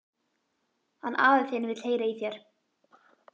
Hann afi þinn vill heyra í þér.